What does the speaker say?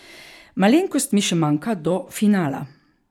Malenkost mi še manjka do finala.